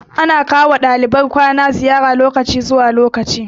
Ana kawo wa ɗaliban makarantar kwana ziyara lokaci zuwa lokaci